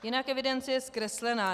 Jinak evidence je zkreslená.